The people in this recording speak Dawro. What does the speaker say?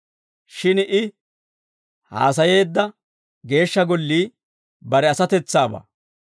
Shin I haasayeedda Geeshsha Gollii bare asatetsaabaa.